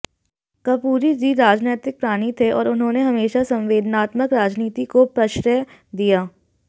कर्पूरी जी राजनैतिक प्राणी थे और उन्होंने हमेशा संवेदनात्मक राजनीति को प्रश्रय दिया